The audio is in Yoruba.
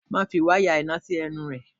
Má fi wáyà iná sí ẹnu rẹ!